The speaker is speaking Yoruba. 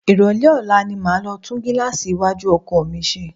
Ìrólé ọ̀la ni máa lọ tún gíláàsì iwájú ọkọ̀ mi ṣe.